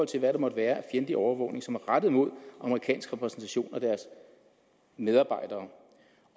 til hvad der måtte være af fjendtlig overvågning som er rettet mod amerikanske repræsentationer og deres medarbejdere